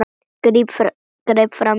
Greip fram í fyrir mér.